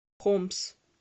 хомс